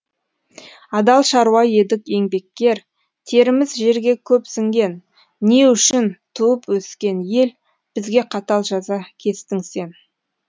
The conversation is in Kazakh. адал шаруа едік еңбеккер теріміз жерге көп сіңген не үшін туып өскен ел бізге қатал жаза кестің сен